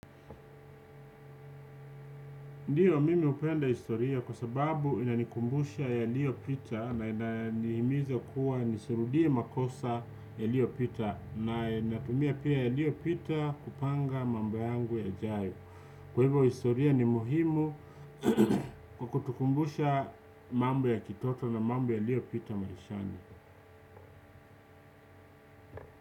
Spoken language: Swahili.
Ndiyo mimi hupenda historia kwa sababu inanikumbusha yaliyo pita na ina ni himiza kuwa nisirudie makosa yaliyo pita na inatumia pia yaliyo pita kupanga mambo yangu yajayo. Kwa hivyo historia ni muhimu kukutukumbusha mambo ya kitoto na mambo yaliyo pita maishani.